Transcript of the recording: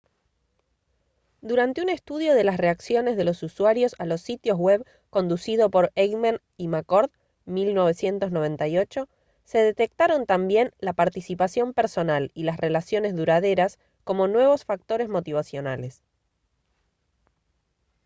durante un estudio de las reacciones de los usuarios a los sitios web conducido por eighmey y mccord 1998 se detectaron también la «participación personal» y las «relaciones duraderas» como nuevos factores motivacionales